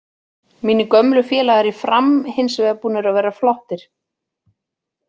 Mínir gömlu félagar í Fram hinsvegar búnir að vera flottir.